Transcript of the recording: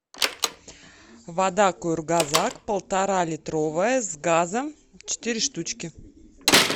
вода кургазак полторалитровая с газом четыре штучки